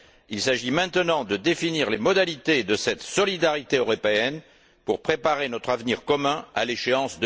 il s'agit maintenant de définir les modalités de cette solidarité européenne pour préparer notre avenir commun à l'échéance